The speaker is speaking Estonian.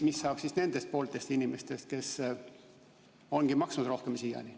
Mis saab siis nendest pooltest inimestest, kes on siiani maksnud rohkem?